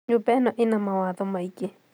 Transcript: Nyũmba ĩno ĩna mawatho maĩngĩ